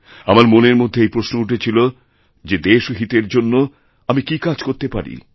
আমার মনেরমধ্যে এই প্রশ্ন উঠছিল যে দেশহিতের জন্য আমি কী কাজ করতে পারি